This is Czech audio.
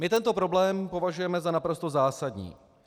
My tento problém považujeme za naprosto zásadní.